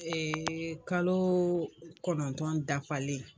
kaloo kɔnɔntɔn dafalen